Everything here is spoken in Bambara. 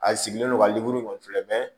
A sigilen don ka lemuru kɔni filɛ